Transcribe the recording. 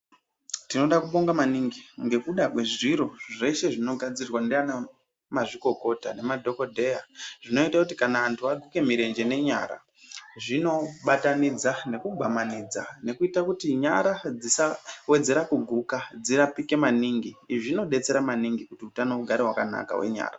Timoda kuabonga maningi nekuda kwezviro zveshe zvinogadzirwa ndiana mazvikokota nemadhokodheya zvinoite kuti antu aguke mirenje nenyara zvinobatanidza nekukwamanidza nekuita kuti nyara dzisawedzera kuguka dzirapike maningi izvi zvinodetsera maningi kuti utano ugare wakanaka wenyara.